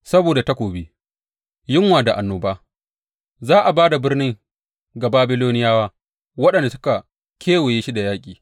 Saboda takobi, yunwa da annoba, za a ba da birnin ga Babiloniyawa waɗanda suka kewaye shi da yaƙi.